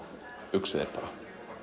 uxu þeir bara